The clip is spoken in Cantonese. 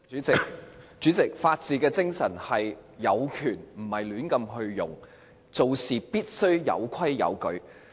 主席，法治精神是有權而不會亂用，做事必須有規有矩。